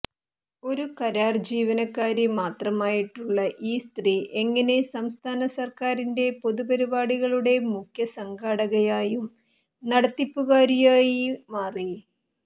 ഒരു കരാര് ജീവനക്കാരി മാത്രമായിട്ടുള്ള ഈ സ്ത്രീ എങ്ങനെ സംസ്ഥാനസര്ക്കാരിന്റെ പൊതുപരിപാടികളുടെ മുഖ്യസംഘാടകയും നടത്തിപ്പുകാരിയുമായി മാറി